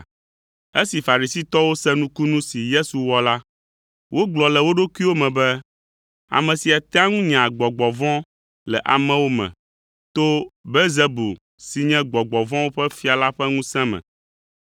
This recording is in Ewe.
Esi Farisitɔwo se nukunu si Yesu wɔ la, wogblɔ le wo ɖokuiwo me be, “Ame sia tea ŋu nyaa gbɔgbɔ vɔ̃ le amewo me to Belzebul si nye gbɔgbɔ vɔ̃wo ƒe fia la ƒe ŋusẽ me.”